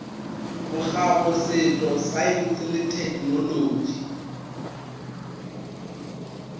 bokgabo setšo saense le thekenolotši